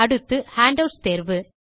அடுத்து ஹேண்டவுட்ஸ் தேர்வு